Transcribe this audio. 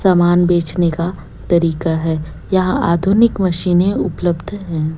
सामान बेचने का तरीका है यहां पर आधुनिक मशीनें उपलब्ध है।